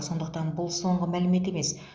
сондықтан бұл соңғы мәлімет емес